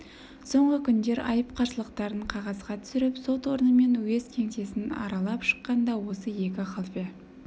соңғы күндер айып қарсылықтарын қағазға түсіріп сот орны мен уезд кеңсесін аралап шыққан да осы екі халфе